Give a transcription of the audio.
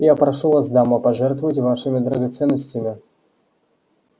я прошу вас дамы пожертвовать вашими драгоценностями